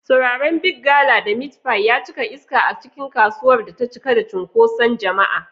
Turaren Big gala da Meat pie ya cika iska a cikin kasuwar da ta cika da cunkoson jama'a.